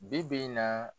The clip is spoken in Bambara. Bi bi in na